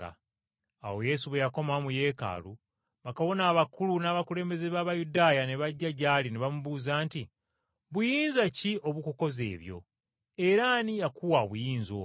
Awo Yesu bwe yakomawo mu Yeekaalu bakabona abakulu n’abakulembeze b’Abayudaaya ne bajja gy’ali ne bamubuuza nti, “Buyinza ki obukukoza ebyo, era ani yakuwa obuyinza obwo?”